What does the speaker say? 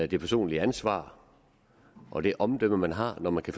det personlige ansvar og det omdømme man har når man kan